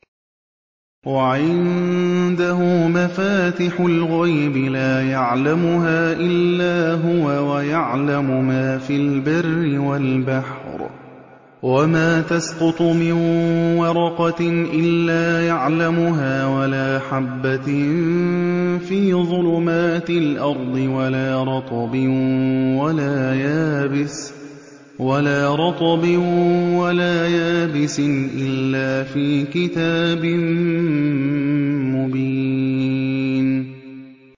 ۞ وَعِندَهُ مَفَاتِحُ الْغَيْبِ لَا يَعْلَمُهَا إِلَّا هُوَ ۚ وَيَعْلَمُ مَا فِي الْبَرِّ وَالْبَحْرِ ۚ وَمَا تَسْقُطُ مِن وَرَقَةٍ إِلَّا يَعْلَمُهَا وَلَا حَبَّةٍ فِي ظُلُمَاتِ الْأَرْضِ وَلَا رَطْبٍ وَلَا يَابِسٍ إِلَّا فِي كِتَابٍ مُّبِينٍ